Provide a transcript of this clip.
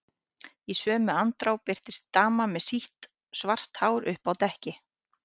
Í sömu andrá birtist dama með sítt, svart hár uppi á dekki.